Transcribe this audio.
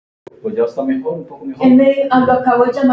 Spræk og fjörug, já.